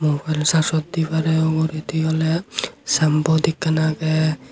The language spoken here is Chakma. pare uguredi oly sambot ekkan agey.